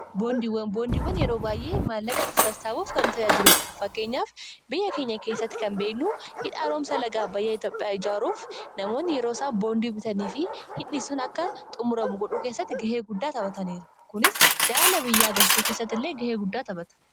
boondiiwwan boondiiwwan yeroo baay'ee maallaqati sastaabuuf kanu tayyaa jiduudha fakkeenyaaf biyya keenya keessatti kan beeynuu hidhaa roomsa lagaa bayya itapha ijaaruuf namoonni yeroo isaa boondii bitanii fi hindhisuun akka xumuramu godhuu keessatti gahee guddaa taphataneeru kunis jaalala biyya agarsisuu keessatt illee gahee guddaa taphata